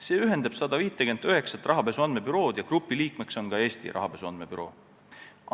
See ühendab 159 rahapesu andmebürood ja grupi liikmeks on ka Eesti rahapesu andmebüroo.